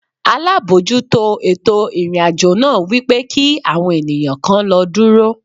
Alábòójútó ètò ìrìn-àjò náà wípé kí àwọn ènìyàn kan lọ dúró.